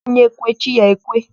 Onye kwe, chi ya ekwe.